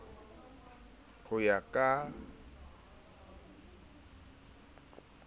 ho ya ka ka kglofalo